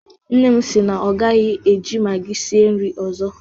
Nne m si na ọ gaghị eji magi sie nri ọzọ.